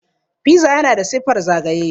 Piza yana da siffar zagaye.